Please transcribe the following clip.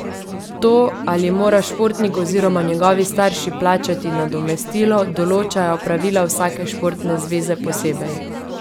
To, ali mora športnik oziroma njegovi starši plačati nadomestilo, določajo pravila vsake športne zveze posebej.